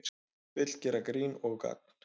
Vill gera grín og gagn